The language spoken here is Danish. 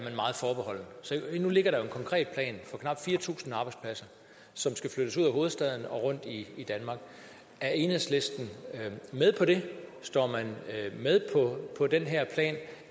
se hvad forbeholden nu ligger der jo en konkret plan for knap fire tusind arbejdspladser som skal flyttes ud af hovedstaden og rundt i danmark er enhedslisten med på det er man med på den her plan